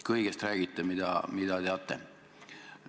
Kõigest räägite, mida teate.